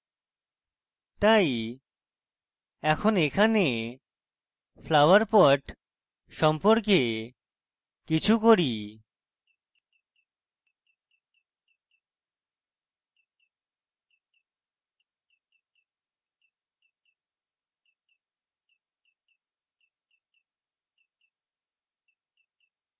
তাই এখন এখানে flower pot সম্পর্কে কিছু করি